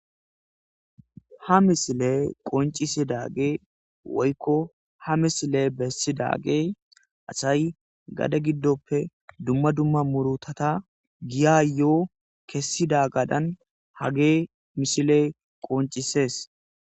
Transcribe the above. ha misile qoncisidagey woykko ha misiley bessidagey asay gade giddoppe dumma dumma murutata giya yo7o kessida gadan hagey mishiley qoncisees